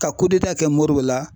Ka kɛ Moribo la